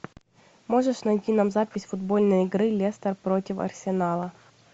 можешь найти нам запись футбольной игры лестер против арсенала